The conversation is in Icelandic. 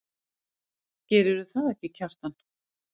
Gerðirðu það ekki, Kjartan?